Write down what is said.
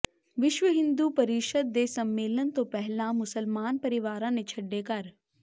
ਵਿਸ਼ਵ ਹਿੰਦੂ ਪ੍ਰੀਸ਼ਦ ਦੇ ਸੰਮੇਲਨ ਤੋਂ ਪਹਿਲਾਂ ਮੁਸਲਮਾਨ ਪਰਿਵਾਰਾਂ ਨੇ ਛੱਡੇ ਘਰ